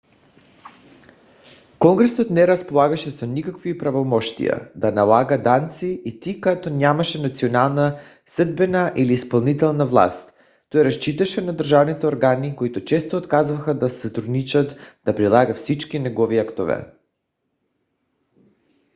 конгресът не разполагаше с никакви правомощия да налага данъци и тъй като нямаше национална съдебна или изпълнителна власт той разчиташе на държавните органи които често отказваха да сътрудничат да прилагат всички негови актове